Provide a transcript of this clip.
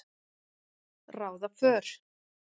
ráða för.